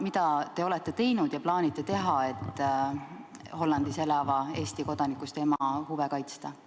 Mida te olete teinud ja plaanite teha, et Hollandis elava Eesti kodanikust ema huve kaitsta?